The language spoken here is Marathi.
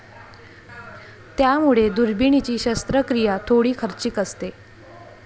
त्यामुळे दुर्बिणीची शस्त्रक्रिया थोडी खर्चिक असते.